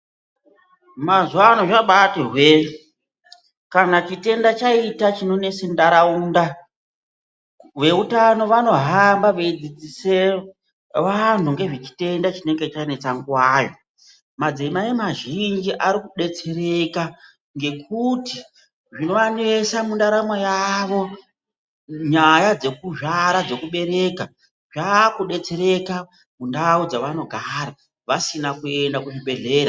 Mazuwa ano zvambati hwe kana chitenda chaita chinonesa nharaunda veutano vanohamba veidzidzise vantu ngezvechitenda chinenge chanetsa nguwayo madzimai mazhinji Ari kudetsereka ngekuti zvinovanesa mundaramo yavo nyaya dzekuzvara dzekubereka zvakudetsereka mundau dzavanogara vasina kuenda kuzvibhehlera.